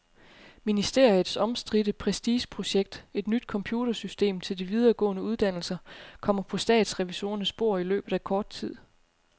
Ministeriets omstridte prestigeprojekt, et nyt computersystem til de videregående uddannelser, kommer på statsrevisorernes bord i løbet af kort tid.